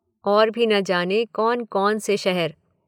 और भी न जाने कौन कौन से शहर।